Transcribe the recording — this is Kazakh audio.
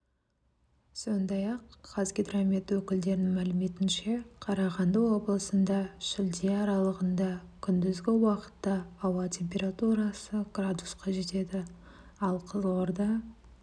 сондай-ақ қазгидромет өкілдерінің мәліметінше қарағанды облысында шілде аралығында күндізгі уақытта ауа температурасы градусқа жетеді ал қызылорда